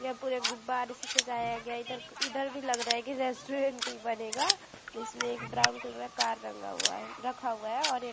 यह पुरे गुब्बारे से सजाया गया है इधर भी लग रहा है रेस्टॉरेंट ही बनेगाइसमें एक ब्राउन कलर कार रंगा हुआ है रखा हुआ है ।